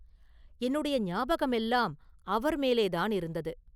என்னுடைய ஞாபகமெல்லாம் அவர் மேலேதான் இருந்தது.